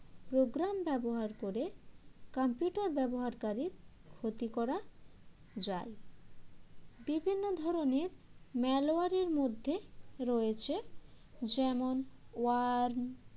program ব্যবহার করে computer ব্যবহারকারীর ক্ষতি করা যায় বিভিন্ন ধরনের malware এর মধ্যে রয়েছে যেমন warn